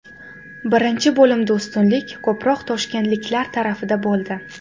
Birinchi bo‘limda ustunlik ko‘proq toshkentliklar tarafida bo‘ldi.